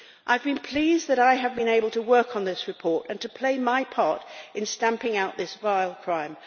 I am pleased that I have been able to work on this report and to play my part in stamping out this vile crime.